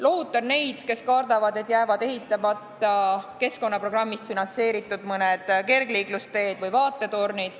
Lohutan neid, kes kardavad, et sel juhul jäävad ehitamata mõned seni keskkonnaprogrammi summadest finantseeritud kergliiklusteed või vaatetornid.